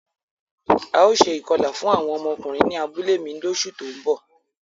Ào ṣe ikọla fun awọn ọmọkunrin ni abule mi loṣu to nbo.